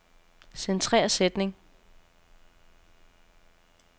Centrer sætning.